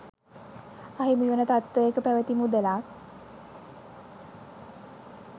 අහිමිවන තත්ත්වයක පැවැති මුදලක්